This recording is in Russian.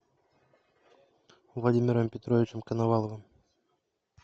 владимиром петровичем коноваловым